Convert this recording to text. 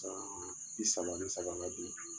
Bi saba ni saba , nga bi